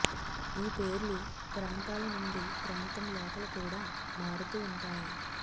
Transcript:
ఈ పేర్లు ప్రాంతాల నుండి ప్రాంతం లోపల కూడా మారుతూ ఉంటాయి